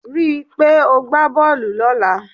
Rí i pé o gbá bọ́ọ̀lù lọ́la.